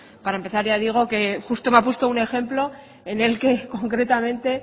para empezar ya digo que justo me ha puesto un ejemplo en el que concretamente